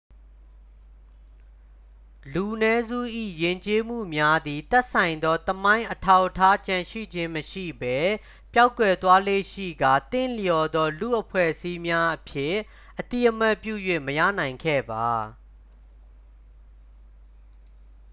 လူနည်းစု၏ယဉ်ကျေးမှုများသည် သက်ဆိုင်သောသမိုင်းအထောက်အထားကျန်ရှိခြင်းမရှိဘဲ ပျောက်ကွယ်သွားလေ့ရှိကာ သင့်လျော်သော လူ့အဖွဲ့အစည်းများအဖြစ် အသိအမှတ်ပြု၍ မရနိုင်ခဲ့ပါ